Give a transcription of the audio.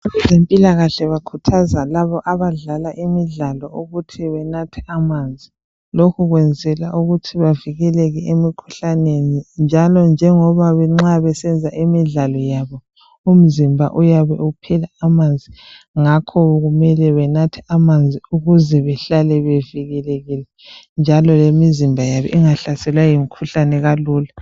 Abezempilakahle bakhuthaza labo abadlala imidlalo ukuthi benathe amanzi. Lokhu kwenzela ukuthi bavikeleke emikhuhlaneni. Njalo njengoba nxabesenza imidlalo yabo, umzimba uyabe uphela amanzi. Ngakho kumele benathe amanzi, ukuzebehlale bevikelekile, njalo lemizimba yabo ingahleselwa yimikhuhlane kalula.